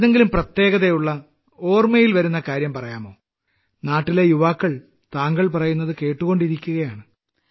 ഏതെങ്കിലും പ്രത്യേകതയുള്ള സ്മരണയിൽ വരുന്ന കാര്യം പറയാമോ നാട്ടിലെ യുവജനങ്ങൾ താങ്കൾ പറയുന്നത് കേട്ടുകൊണ്ടിരിക്കുകയാണ്